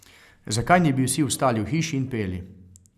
Zakaj ne bi vsi ostali v hiši in peli?